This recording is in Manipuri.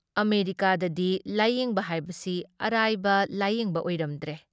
ꯑꯃꯦꯔꯤꯀꯥꯗꯗꯤ ꯂꯥꯌꯦꯡꯕ ꯍꯥꯏꯕꯁꯤ ꯑꯔꯥꯏꯕ ꯂꯥꯌꯦꯡꯕ ꯑꯣꯏꯔꯝꯗ꯭ꯔꯦ ꯫